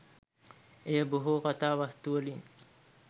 එය බොහෝ කතා වස්තුවලින්